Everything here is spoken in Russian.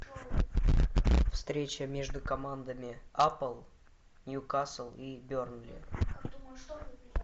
встреча между командами апл ньюкасл и бернли